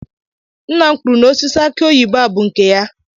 Nna m kwuru na osisi akị oyibo a bụ nke ya